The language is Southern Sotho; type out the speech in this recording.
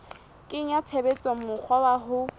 kenya tshebetsong mokgwa wa ho